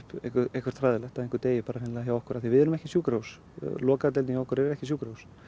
eitthvað hræðilegt að einhver deyi hreinlega hjá okkur því við erum ekki sjúkrahús lokaða deildin hjá okkur er ekki sjúkrahús